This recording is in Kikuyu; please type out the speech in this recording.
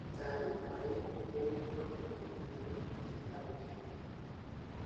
Taariba ĩyo ĩrĩtuo ni athuthuria atĩ nĩ ya gukenania muno.